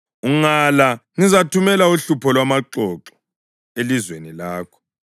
Ungala ngizathumela uhlupho lwamaxoxo elizweni lakho.